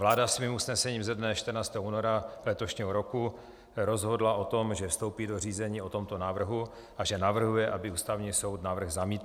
Vláda svým usnesením ze dne 14. února letošního roku rozhodla o tom, že vstoupí do řízení o tomto návrhu a že navrhuje, aby Ústavní soud návrh zamítl.